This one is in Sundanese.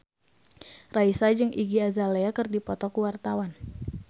Raisa jeung Iggy Azalea keur dipoto ku wartawan